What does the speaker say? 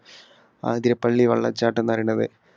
ആതിരപ്പള്ളി വെള്ളച്ചാട്ടം എന്നു പറയണത്